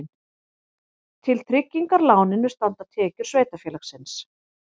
Til tryggingar láninu standa tekjur sveitarfélagsins